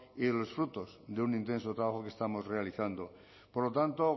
y de los frutos de un intenso trabajo que estamos realizando por lo tanto